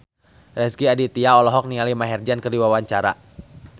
Rezky Aditya olohok ningali Maher Zein keur diwawancara